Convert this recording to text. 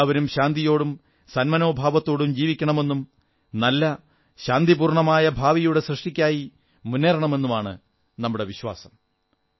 എല്ലാവരും ശാന്തിയോടും സന്മനോഭാവത്തോടും ജീവിക്കണമെന്നും നല്ല ശാന്തപൂർണ്ണമായ ഭാവിയുടെ സൃഷ്ടിക്കായി മുന്നേറുമെന്നുമാണ് നമ്മുടെ വിശ്വാസം